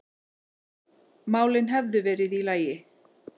málin hefðu verið í lagi.